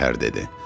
Gövhər dedi.